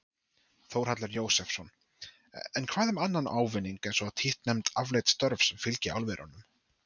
Þórhallur Jósefsson: En hvað um annan ávinning eins og títtnefnd afleidd störf sem fylgi álverunum?